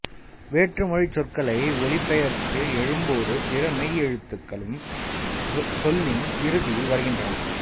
வேற்றுமொழிச் சொற்களை ஒலிபெயர்த்து எழும்போது பிற மெய்யெழுத்துக்களும் சொல்லின் இறுதியில் வருகின்றன